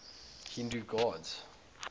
hindu gods